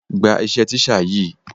Gba iṣẹ́ teacher yìí.